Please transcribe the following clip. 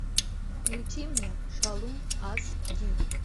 включи мне шалун ас ди